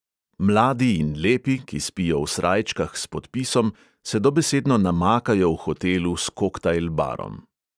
Mladi in lepi, ki spijo v srajčkah s podpisom, se dobesedno namakajo v hotelu s koktajl barom.